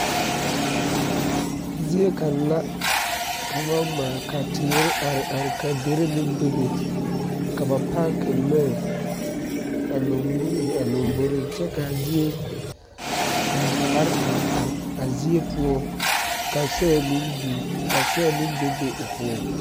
Zie kaŋa la ka ba ŋmaa ka tiire are ka deri meŋ bebe ka ba paaki lɔɛ a lambori kyɛ kaa zie ka daare are are a zie poɔ ka soe meŋ be o poɔ.